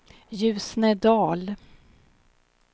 Ljusnedal